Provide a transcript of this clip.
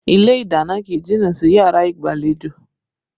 Ilé ìdáná kì í jìnnà sí yàrá ìgbàlejò